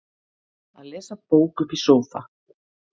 að lesa bók uppi í sófa